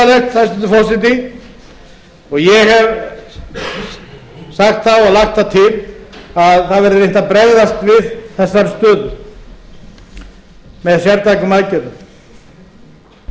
og ég hef sagt það og lagt það til að það verði reynt að bregðast við þeirri stöðu með sértækum aðgerðum